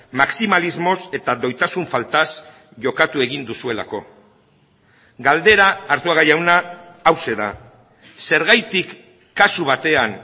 maximalismoz eta doitasun faltaz jokatu egin duzuelako galdera arzuaga jauna hauxe da zergatik kasu batean